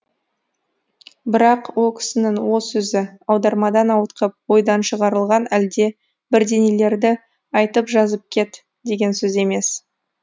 бірақ о кісінің о сөзі аудармадан ауытқып ойдан шығарылған әлде бірдеңелерді айтып жазып кет деген сөз емес